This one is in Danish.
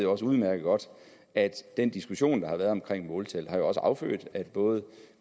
også udmærket godt at den diskussion der har været omkring måltal jo også har affødt at både